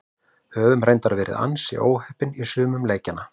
Höfum reyndar verið ansi óheppnir í sumum leikjanna.